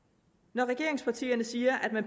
regeringspartierne siger at